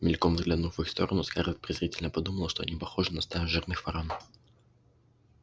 мельком взглянув в их сторону скарлетт презрительно подумала что они похожи на стаю жирных ворон